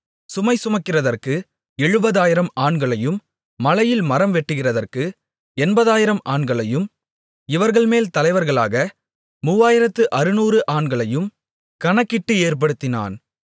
சுமைசுமக்கிறதற்கு எழுபதாயிரம் ஆண்களையும் மலையில் மரம் வெட்டுகிறதற்கு எண்பதாயிரம் ஆண்களையும் இவர்கள்மேல் தலைவர்களாக மூவாயிரத்து அறுநூறு ஆண்களையும் கணக்கிட்டு ஏற்படுத்தினான்